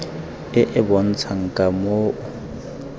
e e bontshang ka moo